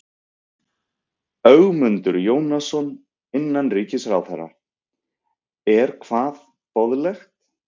Ögmundur Jónasson, innanríkisráðherra: Er hvað boðlegt?